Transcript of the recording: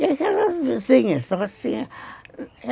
E aquelas vizinhas.